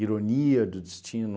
Ironia do destino,